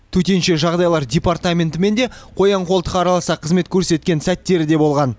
төтенше жағдайлар департаментімен да қоян қолтық араласа қызмет көрсеткен сәттері де болған